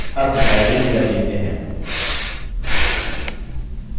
अब हम library database में हैं